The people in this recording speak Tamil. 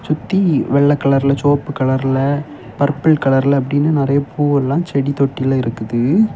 சுத்தி வெள்ள கலர்ல செவப்பு கலர்ல பர்பிள் கலர்ல அப்படின்னு நறைய பூவெல்லா செடி தொட்டியில இருக்குது.